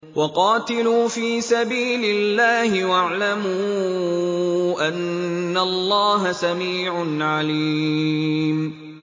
وَقَاتِلُوا فِي سَبِيلِ اللَّهِ وَاعْلَمُوا أَنَّ اللَّهَ سَمِيعٌ عَلِيمٌ